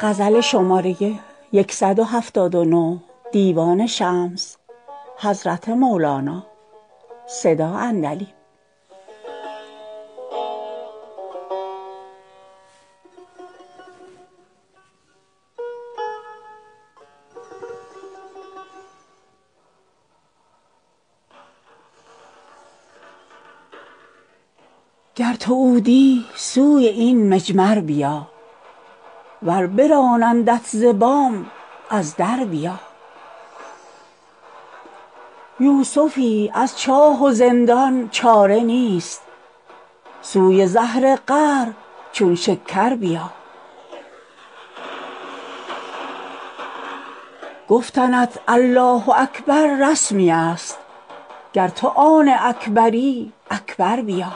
گر تو عودی سوی این مجمر بیا ور برانندت ز بام از در بیا یوسفی از چاه و زندان چاره نیست سوی زهر قهر چون شکر بیا گفتنت الله اکبر رسمی است گر تو را آن اکبری اکبر بیا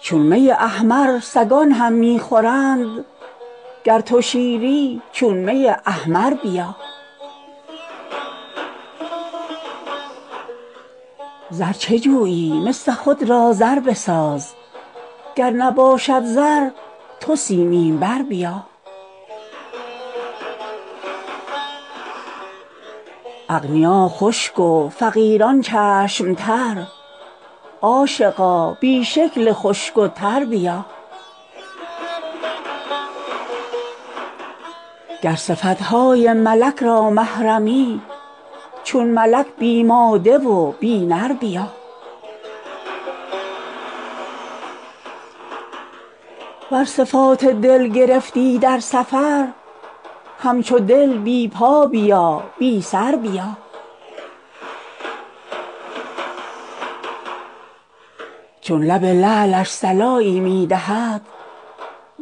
چون می احمر سگان هم می خورند گر تو شیری چون می احمر بیا زر چه جویی مس خود را زر بساز گر نباشد زر تو سیمین بر بیا اغنیا خشک و فقیران چشم تر عاشقا بی شکل خشک و تر بیا گر صفت های ملک را محرمی چون ملک بی ماده و بی نر بیا ور صفات دل گرفتی در سفر همچو دل بی پا بیا بی سر بیا چون لب لعلش صلایی می دهد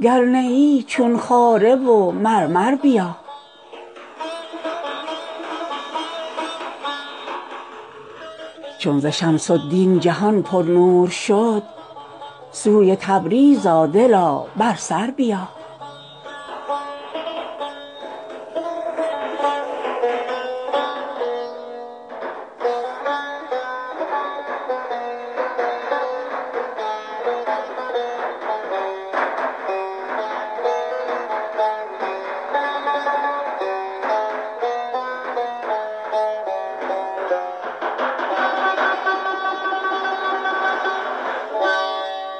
گر نه ای چون خاره و مرمر بیا چون ز شمس الدین جهان پرنور شد سوی تبریز آ دلا بر سر بیا